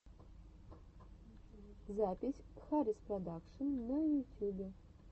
запись хариспродакшн на ютюбе